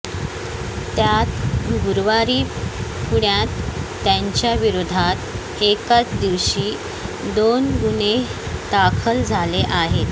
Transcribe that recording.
त्यात गुरुवारी पुण्यात त्यांच्याविरोधात एकाच दिवशी दोन गुन्हे दाखल झाले आहेत